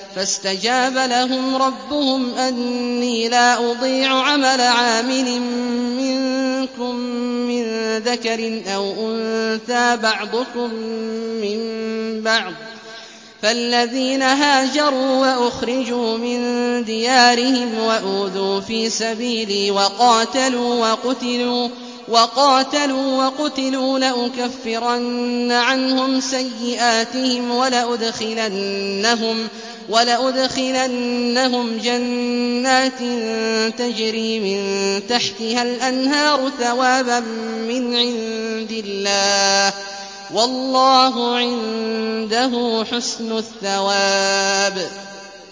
فَاسْتَجَابَ لَهُمْ رَبُّهُمْ أَنِّي لَا أُضِيعُ عَمَلَ عَامِلٍ مِّنكُم مِّن ذَكَرٍ أَوْ أُنثَىٰ ۖ بَعْضُكُم مِّن بَعْضٍ ۖ فَالَّذِينَ هَاجَرُوا وَأُخْرِجُوا مِن دِيَارِهِمْ وَأُوذُوا فِي سَبِيلِي وَقَاتَلُوا وَقُتِلُوا لَأُكَفِّرَنَّ عَنْهُمْ سَيِّئَاتِهِمْ وَلَأُدْخِلَنَّهُمْ جَنَّاتٍ تَجْرِي مِن تَحْتِهَا الْأَنْهَارُ ثَوَابًا مِّنْ عِندِ اللَّهِ ۗ وَاللَّهُ عِندَهُ حُسْنُ الثَّوَابِ